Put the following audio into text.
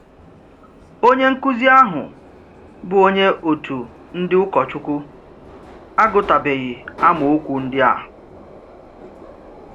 Onye nkụ́zi ahụ, bụ́ onye òtù ndí ụkọchukwu, agụ́tụbèghị amaokwu ndị a.